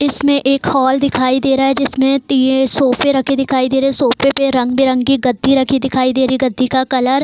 इसमें एक हॉल दिखाई दे रहा है जिसमें तीन सोफे रखे दिखाई दे रहें हैं सोफे पे रंग-बिरंगी गद्दी रखी दिखाई दे रही है गद्दी का कलर --